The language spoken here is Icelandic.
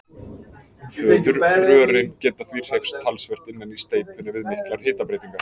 Fóðurrörin geta því hreyfst talsvert innan í steypunni við miklar hitabreytingar.